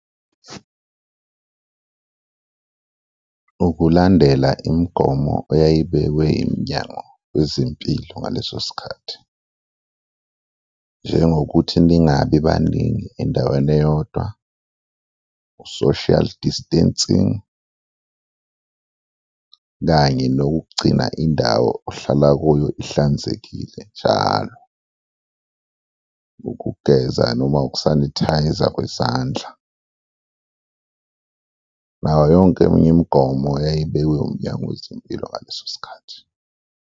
Ukulandela imigomo eyayibekiwe iMnyango Wezempilo ngaleso sikhathi, njengokuthi ningabi baningi endaweni eyodwa, u-social distancing kanye nokugcina indawo ohlala kuyo ihlanzekile njalo, ukugeza noma uku-isanithayza kwezandla nawo yonke eminye imigomo eyayibekwe uMnyango Wezempilo ngaleso sikhathi.